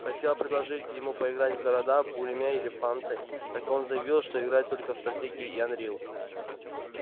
хотела предложить ему поиграть в города буриме или фанты так он заявил что играет только в стратегии и анрил